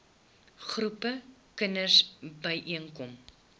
groepe kinders byeenkom